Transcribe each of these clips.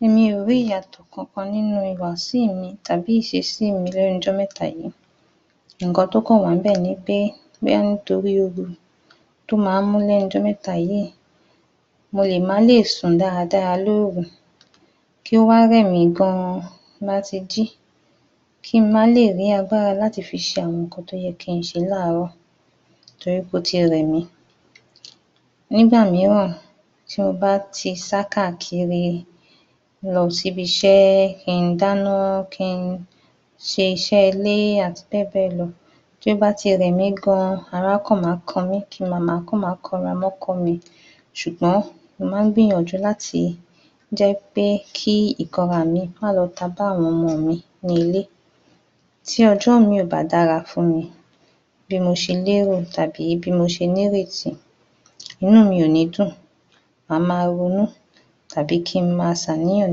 22. Mi ò rí ìyàtọ̀ kankan nínú ìhùwàsíì mi tàbí ìṣesíì mi lẹ́nu'jọ́mẹ́ta yìí, nnkan tó kàn wà ní'bẹ̀ ni wí pé bóyá nítorí ooru tó máa ń mú lẹ́nu'jọ́mẹ́ta yìí. Mo lè má lè sùn dáadáa l'óru, kí ó wá rẹ̀mí gan láti jí, kí n má lè rí agbára láti fi ṣe nnkan tó yẹ kí n ṣe láàárọ̀ torí pé ó ti rẹ̀mí. Nígbà mìíràn tí mo bá ti sá káàkiri lọ síbi iṣẹ́, kí n dáná, kí n ṣiṣẹ́ ilé àti bẹ́ẹ̀ bẹ́ẹ̀ lọ. Tó bá ti rẹ̀mí gan ara á kàn ma kanmí, ki màá kàn máa kanra mọ́kọ mi ṣùgbọ́n mo máa ń gbìyànjú láti jẹ́ pé kí ìkanraà míì má lọ tabá àwọn ọmọ mi ní ilé, tí ọjọ́ míì ò bá dára ní ilé bí mo ṣe l'érò tàbí bí mo ṣe ní'rètí inú mi ò ní dùn màá máa ronú tàbí kí n máa ṣàníyàn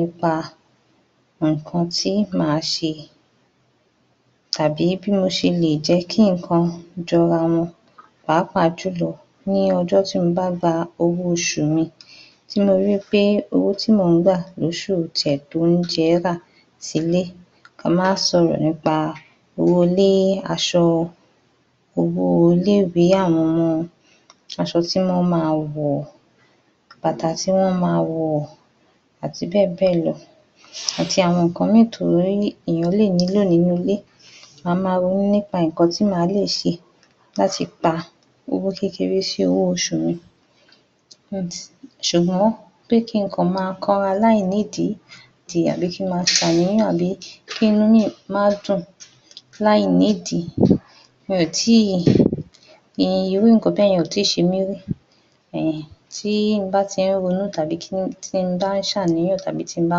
nípa nǹkan tí màá ṣe tàbí bí mo ṣe lè jẹ́ kí nǹkan jọra wọn pàápàá jùlọ ní ọjọ́ tí mo bá gba owó oṣù mi, tí mo ri wí pé owó tí mò ń gbà l'óṣù ò ti ẹ̀ tó oúnjẹẹ́ rà sí'lé. Ká má sọ̀rọ̀ nípa owó-olé, aṣọ, owó-léwèé àwọn ọmọ, aṣọ tí wọ́n máa wọ̀, bàtà tí wọ́n máa wọ̀ àti bẹ́ẹ̀ bẹ́ẹ̀ lọ, àti àwọn nǹkan míì um t'éèyàn lè nílò nínú ilé, màá máa ronú nípa nǹkan tí màá lè ṣe láti pa owó kékeré sí owó oṣù mi. Ṣùgbọ́n pé kí n kàn máa kanra láìnídìí tàbí kí n ma dàníyàn lé, kí'nú mi má dùn láìnídìí um, irú nǹkan bẹ́ẹ̀yẹn kò ì tíì ṣe mí rí. um tí mo bá ti ń ronú tàbí um tí n bá ń ṣ'àníyàn tàbí tí n bá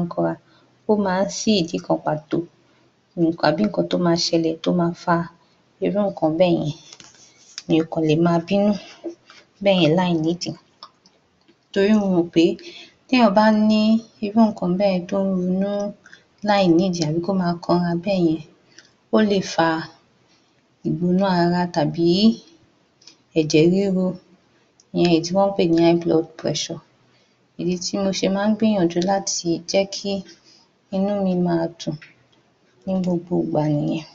ń kanra, ó máa tí ní ìdí kan pàtó um àbí nǹkan tó máa ṣẹlẹ̀ tó máa fa irú nǹkan bẹ́ẹ̀yẹn, mi ò kàn lè ma bínú bẹ́ẹ̀yẹn láìnídìí, torí mo mọ̀ pé, téèyàn bá ní irú nǹkan bẹ́ẹ̀yẹn tó ń ronú láìnídìí tàbí kó máa kanra bẹ́ẹ̀yẹn, ó lè fa ìgbóná ara àbí ẹ̀jẹ̀ ríru, ìyẹn èyí tí wọ́n ń pè ní áíbulọdù bírẹṣọ̀. Ìdí tí mo fi máa ń gbìyànjú láti jẹ́ kí inú mi máa dùn ní gbogbo-ògbà nìyẹn.